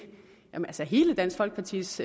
hele dansk folkepartis